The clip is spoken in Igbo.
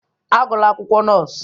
Agụla akwụkwọ nọọsụ!